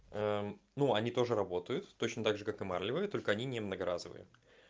аа ну они тоже работают точно также как и марлевые только они не многоразовые